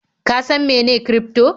Ka san mene kirifto?